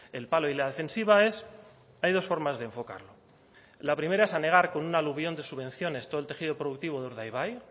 el palo y la defensiva es hay dos formas de enfocarlo la primera es anegar con un aluvión de subvenciones todo el tejido productivo de urdaibai